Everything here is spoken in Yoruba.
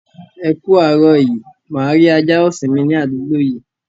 Ẹ ku árọ̀ yí. Máa rí àjà ọṣìn mì ní adúgbò yìí?